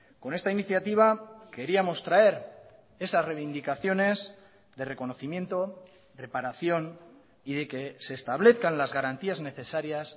con esta iniciativa queríamos traer esas reivindicaciones de reconocimiento reparación y de que se establezcan las garantías necesarias